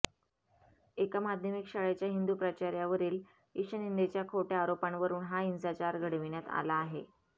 एका माध्यमिक शाळेच्या हिंदू प्राचार्यावरील ईशनिंदेच्या खोटय़ा आरोपांवरून हा हिंसाचार घडविण्यात आला आहे